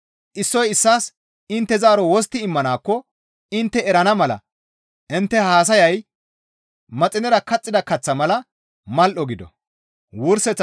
Issoy issaas intte zaaro wostti immanaakko intte erana mala intte haasayay maxinera kaxxida kaththa mala mal7o gido.